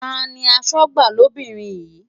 Ta ni aṣojú lóbìnrin yín?